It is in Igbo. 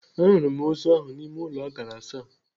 À hụrụ m ozu ahụ n'ime ụlọ akara asaa.